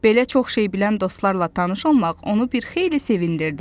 Belə çox şey bilən dostlarla tanış olmaq onu bir xeyli sevindirdi.